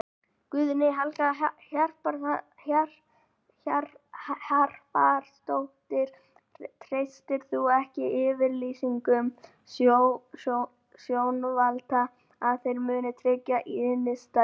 Guðný Helga Herbertsdóttir: Treystir þú ekki yfirlýsingum stjórnvalda að þeir muni tryggja innistæður?